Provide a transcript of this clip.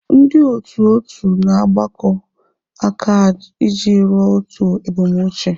Ndị otu otu na-agbakọ aka iji ruo otu ebumnuche.